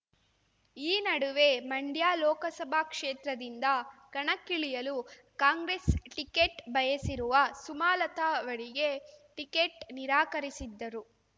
ಈ ನಡುವೆ ಮಂಡ್ಯ ಲೋಕಸಭಾ ಕ್ಷೇತ್ರದಿಂದ ಕಣಕ್ಕಿಳಿಯಲು ಕಾಂಗ್ರೆಸ್ ಟಿಕೆಟ್ ಬಯಸಿರುವ ಸುಮಲತ ಅವರಿಗೆ ಟಿಕೆಟ್ ನಿರಾಕರಿಸಿದ್ದರೂ